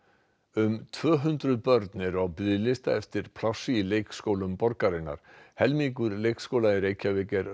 um tvö hundruð börn eru á biðlista eftir plássi í leikskólum borgarinnar helmingur leikskóla í Reykjavík er